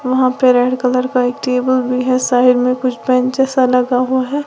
वहां पे red colour का एक टेबल भी है साइड में कुछ बेचें सा लगा हुआ है।